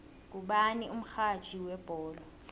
ngubani umxhatjhi webholo